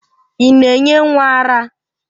Ị na-enye nwa ara?